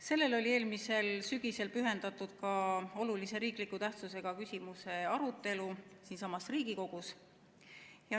Sellele oli eelmisel sügisel pühendatud ka olulise tähtsusega riikliku küsimuse arutelu siinsamas Riigikogus.